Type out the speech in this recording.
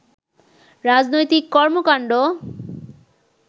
রাজনৈতিক কর্মকাণ্ড